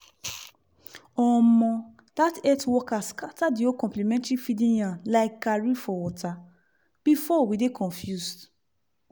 omo! that health worker scatter the whole complementary feeding yarn like garri for water! before we dey confuse